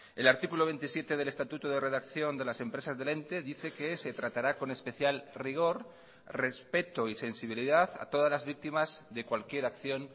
el artículo veintisiete del estatuto de redacción de las empresas del ente dice que se tratará con especial rigor respeto y sensibilidad a todas las víctimas de cualquier acción